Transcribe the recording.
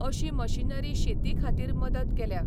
अशी मशीनरी शेती खातीर मदत केल्या.